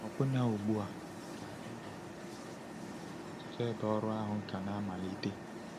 Ọbụna ugbu a, ka e nwere nwere ọtụtụ ebe ọrụ ahụ ka na-amalite.